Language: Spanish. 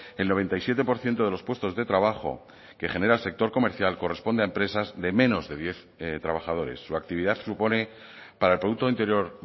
el noventa y siete por ciento de los puestos de trabajo que genera el sector comercial corresponde a empresas de menos de diez trabajadores su actividad supone para el producto interior